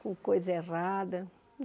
com coisa errada.